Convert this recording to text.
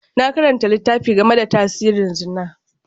Na karanta littafi game da tasirin Zina.